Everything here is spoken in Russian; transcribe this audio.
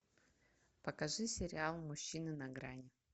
покажи сериал мужчины на грани